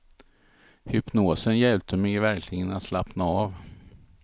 Hypnosen hjälpte mig verkligen att slappna av.